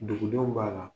Dugudenw b'a la